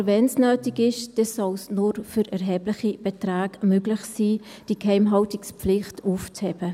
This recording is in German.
Aber wenn es nötig ist, dann soll es nur für erhebliche Beträge möglich sein, diese Geheimhaltungspflicht aufzuheben.